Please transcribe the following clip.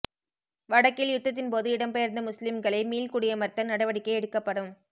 வடக்கில் யுத்தத்தின் போது இடம்பெயர்ந்த முஸ்லிம்களை மீள் குடியமர்த்த நடவடிக்கை எடுக்கப்படும்